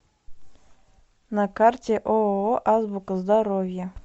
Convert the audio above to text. на карте ооо азбука здоровья